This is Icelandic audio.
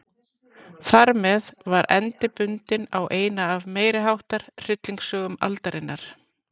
Þarmeð var endi bundinn á eina af meiriháttar hryllingssögum aldarinnar.